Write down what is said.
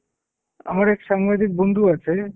আমার এক সাংবাদিক বন্ধু আছে।